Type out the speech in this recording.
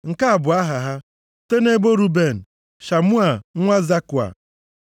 Nke a bụ aha ha: Site nʼebo Ruben, Shamua nwa Zakua,